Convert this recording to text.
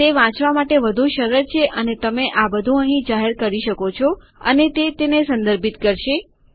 તે વાંચવા માટે વધુ સરળ છે અને તમે આ બધું અહીં જાહેર કરી શકો અને તે તેને સંદર્ભિત કરશે